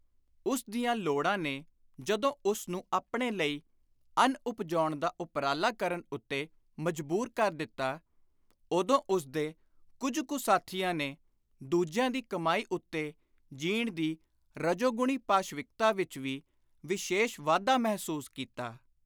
ਉਸ ਦੀਆਂ ਲੋੜਾਂ ਨੇ ਜਦੋਂ ਉਸ ਨੂੰ ਆਪਣੇ ਲਈ ਅੰਨ ਉਪਜਾਉਣ ਦਾ ਉਪਰਾਲਾ ਕਰਨ ਉੱਤੇ ਮਜਬੂਰ ਕਰ ਦਿੱਤਾ, ਉਦੋਂ ਉਸਦੇ ਕੁੱਝ ਕੁ ਸਾਥੀਆਂ ਨੇ ਦੂਜਿਆਂ ਦੀ ਕਮਾਈ ਉੱਤੇ ਜੀਣ ਦੀ ਰਜੋਗੁਣੀ ਪਾਸ਼ਵਿਕਤਾ ਵਿਚ ਵੀ ਵਿਸ਼ੇਸ਼ ਵਾਧਾ ਮਹਿਸੂਸ ਕੀਤਾ।